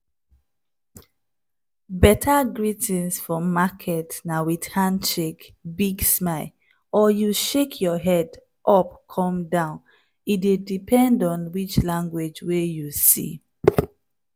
better greetings for market na with handshake big smile or you shake head up come down. e dey depend on which language wey you see.